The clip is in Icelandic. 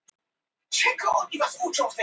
Sveinbjörn Beinteinsson: Lausavísur.